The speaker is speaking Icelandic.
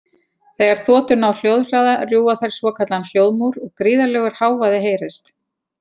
Þegar þotur ná hljóðhraða rjúfa þær svokallaðan hljóðmúr og gríðarlegur hávaði heyrist.